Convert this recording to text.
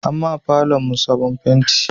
An ma falon mu sabon fenti